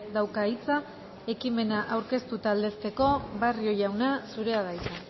dauka hitza ekimena aurkeztu eta aldezteko barrio jauna zurea da hitza